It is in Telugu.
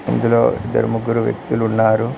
ఇందులో ఇద్దరు ముగ్గురు వ్యక్తులు ఉన్నారు.